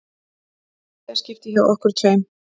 Þriðja skiptið hjá okkur tveim.